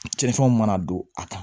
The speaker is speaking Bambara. Cɛncɛn mana don a kan